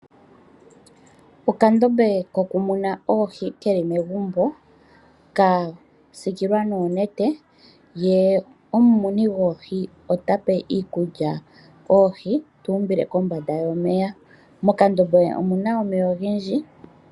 Okandombe koku muna oohi keli megumbo. Ka sikilwa noonete. Ye omumuni gwoohi ota pe oohi iikulya tu umbile kombanda yomeya. Mokandombe omuna omeya ogendji.